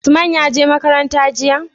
Usman ya je makaranta jiya?